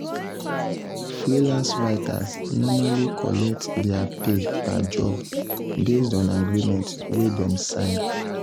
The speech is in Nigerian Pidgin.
freelance writers normally collect their pay per job based on agreement wey dem sign.